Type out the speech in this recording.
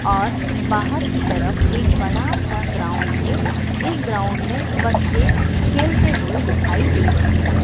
और बाहर की तरफ एक बड़ा सा ग्राउंड है इस ग्राउंड में बच्चे खेलते हुए दिखाई दे रहे हैं।